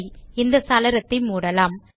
சரி இந்த சாளரத்தை மூடலாம்